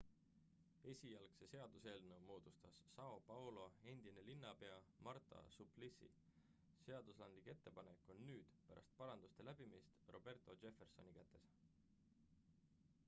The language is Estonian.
esialgse seaduseelnõu moodustas são paulo endine linnapea marta suplicy. seadusandlik ettepanek on nüüd pärast paranduste läbimist roberto jeffersoni kätes